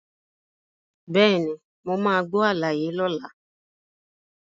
Bẹ́ẹ̀ni, mo máa gbọ́ àlàyé lọ́la.